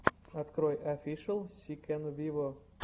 открой офишел си кэн виво